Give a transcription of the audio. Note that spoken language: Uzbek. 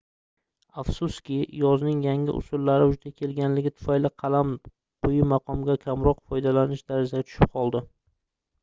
afsuski yozuvning yangi usullari vujudga kelganligi tufayli qalam quyi maqomga va kamroq foydalanish darajasiga tushib qoldi